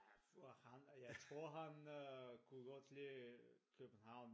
For han jeg tror jeg tror han øh godt kan lide København